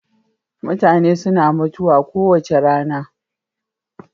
mutane suna mutuwa kowace rana